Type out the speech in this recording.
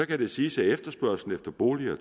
kan det siges at efterspørgslen efter boliger